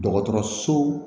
Dɔgɔtɔrɔso